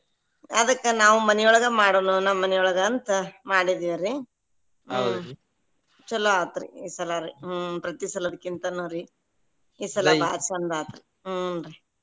ಅದಕ್ಕ ನಾವ್ ಮನಿಯೊಳಗ ಮಾಡುನು ನಮ್ಮ ಮನಿಯೊಳಗ ಅಂತ ಮಾಡಿದಿವ್ರಿ ಚಲೋ ಆತ್ರಿ ಈಸಲಾರೀ ಹ್ಮ್‌ ಪ್ರತಿಸಲಕ್ಕಿಂತನು ರೀ ಈಸಲ ಬಾಳ್ ಚಂದ ಆತ್ರಿ ಹುಂ ರೀ.